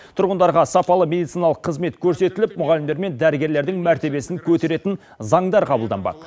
тұрғындарға сапалы медициналық қызмет көрсетіліп мұғалімдер мен дәрігерлердің мәртебесін көтеретін заңдар қабылданбақ